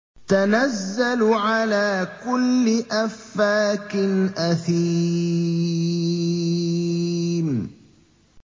تَنَزَّلُ عَلَىٰ كُلِّ أَفَّاكٍ أَثِيمٍ